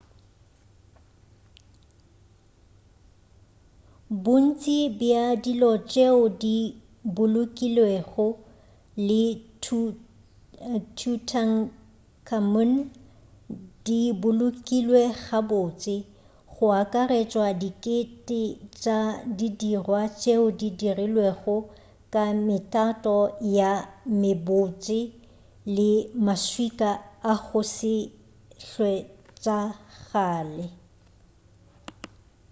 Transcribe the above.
bontši bja dilo tšeo di bolokilwego le tutankhamun di bolokilwe gabotse go akaretšwa dikete tša didirwa tšeo di dirilwego ka metato ye mebotse le maswika a go se hwetšagale